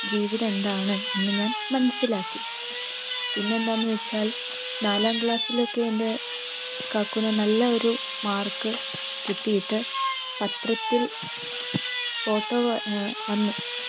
ജീവിതം എന്താണ് എന്ന് ഞാൻ മനസിലാക്കി പിന്നെയെന്താന്ന് വച്ചാൽ നാലാം class ലൊക്കെ എൻ്റെ കാക്കുന് നല്ല ഒരു mark കിട്ടിയിട്ട് പത്രത്തിൽ photo വ ഏർ വന്നു.